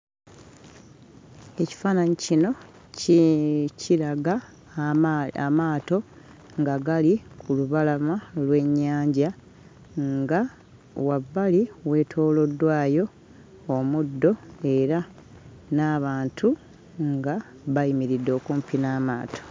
Ekifaananyi kino ki kiraga ama amaato nga gali ku lubalama lw'ennyanja nga wabbali weetooloddwayo omuddo era n'abantu nga bayimiridde okumpi n'amaato.